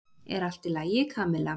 Er allt í lagi, Kamilla?